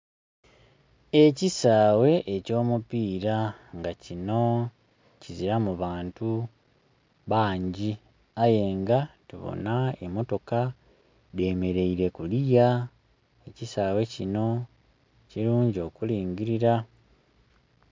Ekisaghe eky'omupira nga kino kizilamu bantu bangi ayenga tubona emotoka dhemeleire kuluya. Ekisaghe kino kilungi okulingilira.